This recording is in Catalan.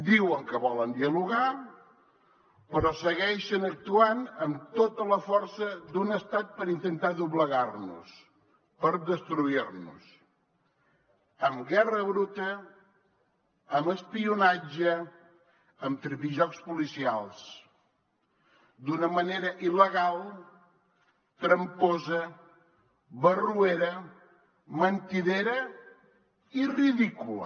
diuen que volen dialogar però segueixen actuant amb tota la força d’un estat per intentar doblegar nos per destruir nos amb guerra bruta amb espionatge amb tripijocs policials d’una manera il·legal tramposa barroera mentidera i ridícula